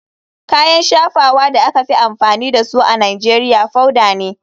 Kayan shafawa da aka fi amfani da su a nigeria powader ne.